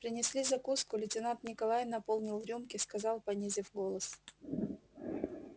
принесли закуску лейтенант николай наполнил рюмки сказал понизив голос